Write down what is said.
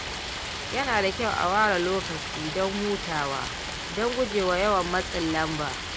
Yana da kyau a ware lokaci don hutawa don gujewa yawan matsin lamba.